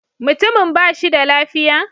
Mutumin ba shi da lafiya?